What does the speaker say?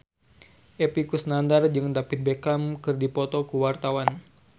Epy Kusnandar jeung David Beckham keur dipoto ku wartawan